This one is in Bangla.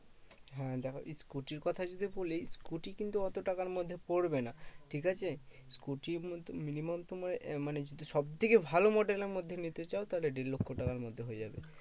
হ্যাঁ দেখো এই scooter র কথা যদি বলি, scooter কিন্তু অত টাকার মধ্যে পরবে না, ঠিকাছে? scooter minimum তোমার এ মানে যদি সবথেকে ভালো model এর মধ্যে নিতে চাও, তাহলে দেড় লক্ষ্য তারার মধ্যে হয়ে যাবে।